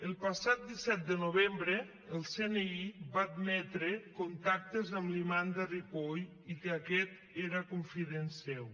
el passat disset de novembre el cni va admetre contactes amb l’imam de ripoll i que aquest era confident seu